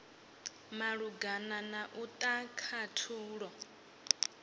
malugana na u ta khathulo